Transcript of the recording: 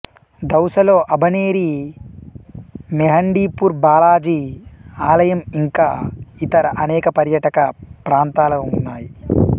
దౌసలో అభనేరి మెహండిపూర్ బాలాజీ ఆలయంఇంకా ఇతర అనేక పర్యాటక ప్రాంతాల ఉన్నాయి